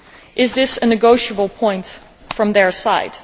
Is this a negotiable point from their side?